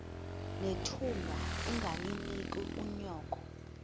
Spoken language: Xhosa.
nethunga ungalinik unyoko